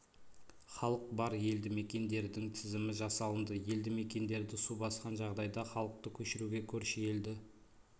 халық бар елді мекендердің тізімі жасалынды елді мекендерді су басқан жағдайда халықты көшіруге көрші елді